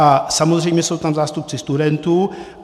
A samozřejmě jsou tam zástupci studentů.